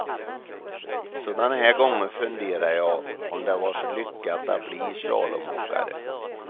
Sådana här gånger funderar jag, om det var så lyckat att bli slalomåkare.